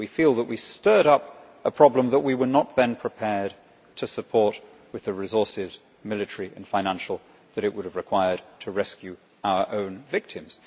We feel that we stirred up a problem that we were not then prepared to support with the resources military and financial that it would have required to rescue our own victims.